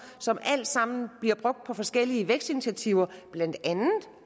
som alle sammen bliver brugt på forskellige vækstinitiativer blandt andet